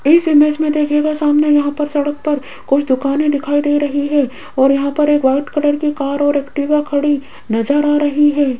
इस इमेज मे देखिएयेगा सामने यहां पर सड़क पर कुछ दुकानें दिखाई दे रही है और यहां पर एक व्हाइट कलर की कार और एक्टिवा खड़ी नजर आ रही है।